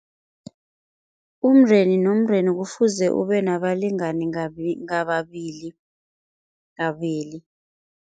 Umndeni nomndeni kufuze ube nabalingani ngababili, kabili.